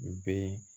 U bɛ